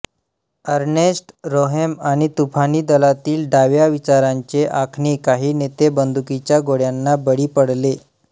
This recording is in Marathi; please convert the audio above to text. अर्नेस्ट रोहेम आणि तुफानी दलातील डाव्या विचारांचे आणखी काही नेते बंदुकीच्या गोळ्यांना बळी पडले